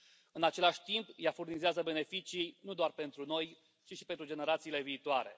În același timp, ea furnizează beneficii nu doar pentru noi, ci și pentru generațiile viitoare.